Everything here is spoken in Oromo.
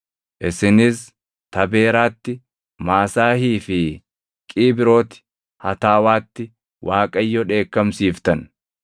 Isinis Tabeeraatti, Maasaahii fi Qiibrooti Hataawaatti Waaqayyo dheekkamsiiftan.